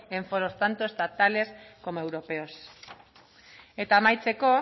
en foros tanto estatales como europeos eta amaitzeko